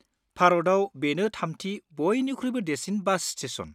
भारतआव बेनो थामथि बयनिख्रुइबो देरसिन बास स्टेसन।